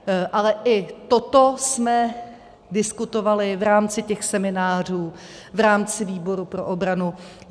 Ale i toto jsme diskutovali v rámci těch seminářů, v rámci výboru pro obranu.